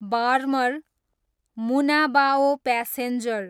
Barmer, Munabao passenger